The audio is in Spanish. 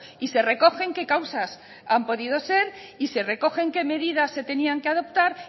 y se recogen qué causas han podido ser y se recogen qué medidas se tenían que adoptar